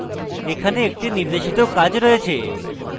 এখানে একটি নির্দেশিত কাজ রয়েছে